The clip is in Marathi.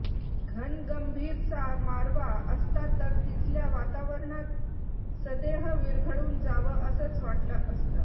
घनगंभीरसा मारवा असता तर तिथल्या वातावरणात सदेह विरघळून जावं असंच वाटलं असतं